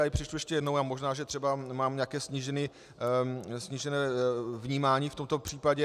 Já ji přečtu ještě jednou a možná, že třeba mám nějaké snížené vnímání v tomto případě.